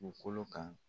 Dugukolo kan